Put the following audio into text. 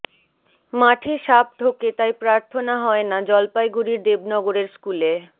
মাঠে সাপ ঢোকে তাই প্রার্থনা হয় না জলপাইগুড়ির দেবনগরের স্কুলে